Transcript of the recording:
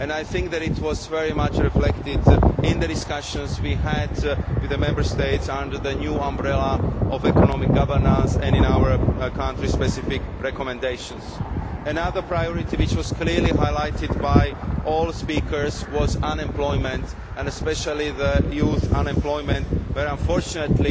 I think that it was very much reflected in the discussions we had with the Member States under the new umbrella of economic governance and in our country specific recommendations. Another priority which was clearly highlighted by all speakers was unemployment, and especially youth unemployment, where unfortunately